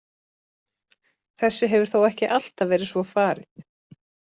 Þessu hefur þó ekki alltaf verið svo farið.